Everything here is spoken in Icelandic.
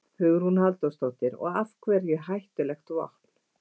Hugrún Halldórsdóttir: Og af hverju hættulegt vopn?